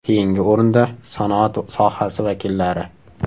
Keyingi o‘rinda sanoat sohasi vakillari.